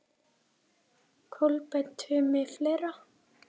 Kolbeinn Tumi Fleira?